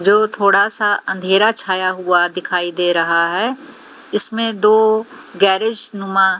जो थोड़ा सा अंधेरा छाया हुआ दिखाई दे रहा है इसमें दो गैरेज नुमा--